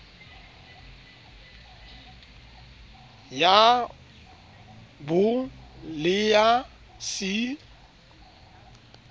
ya b le ya c